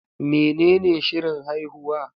Menene shirin haihuwa?